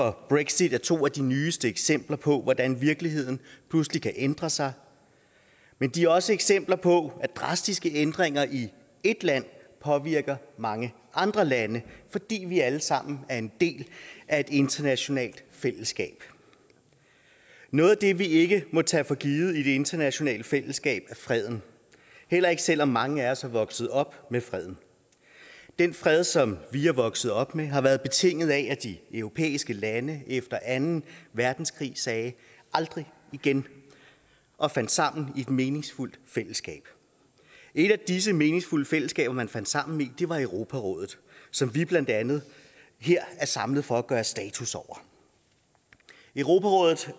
og brexit er to af de nyeste eksempler på hvordan virkeligheden pludselig kan ændre sig men de er også eksempler på at drastiske ændringer i et land påvirker mange andre lande fordi vi alle sammen er en del af et internationalt fællesskab noget af det vi ikke må tage for givet i det internationale fællesskab er freden heller ikke selv om mange af os er vokset op med freden den fred som vi er vokset op med har været betinget af at de europæiske lande efter anden verdenskrig sagde aldrig igen og fandt sammen i et meningsfuldt fællesskab et af disse meningsfulde fællesskaber man fandt sammen i var europarådet som vi blandt andet her er samlet for at gøre status over europarådet